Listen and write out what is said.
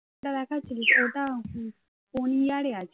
কোন year এ আছে